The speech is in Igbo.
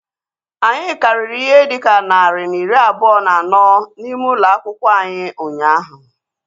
Anyị karịrị ihe dịka narị na iri abụọ na anọ n'ime ụlọ akwụkwọ anyị ụnyaahụ